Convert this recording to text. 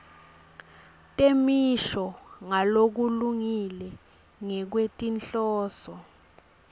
temisho ngalokulungile ngekwetinhloso